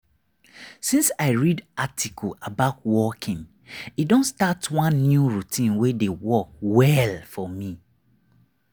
since i read article about walking i don start one new routine wey dey work well for me.